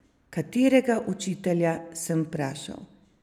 Katerega učitelja, sem vprašal.